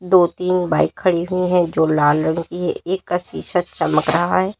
दो तीन बाइक खड़ी हुई हैं जो लाल रंग की है एक का शीशा चमक रहा है।